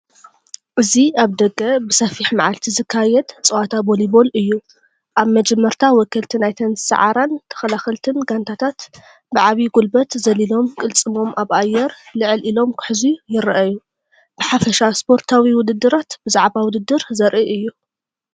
እዚ ኣብ ደገ ብሰፊሕ መዓልቲ ዝካየድ ጸወታ ቮሊቦል እዩ። ኣብ መጀመርታ ወከልቲ ናይተን ዝሰዓራን ተኸላኸልቲን ጋንታታት ብዓቢ ጉልበት ዘሊሎም ቅልጽሞም ኣብ ኣየር ልዕል ኢሎም ክሕዙ ይረኣዩ። ብሓፈሻ ስፖርታዊ ውድድራት ብዛዕባ ውድድር ዘርኢ እዩ።